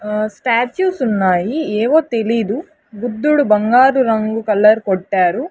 ఆ స్టాచుస్ ఉన్నాయి ఏవో తెలీదు బుద్ధుడు బంగారు రంగు కలర్ కొట్టారు.